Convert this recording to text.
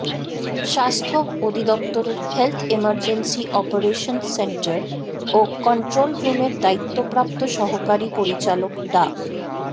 স্বাস্থ্য অধিদপ্তরের health emergency operations centre ও কন্ট্রোল রুমের দায়িত্বপ্রাপ্ত সহকারী পরিচালক ডা